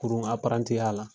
Kurun ya la